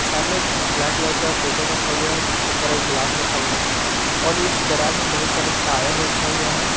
सामने एक black colour का टेबल रखा हुआ है जिसके ऊपर एक गिलास रखा गया है और इस गराज में बहुत सारे टायर रखा हुआ है।